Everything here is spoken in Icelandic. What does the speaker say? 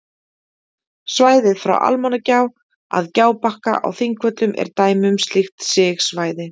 Svæðið frá Almannagjá að Gjábakka á Þingvöllum er dæmi um slíkt sigsvæði.